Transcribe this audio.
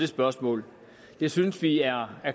spørgsmålet det synes vi er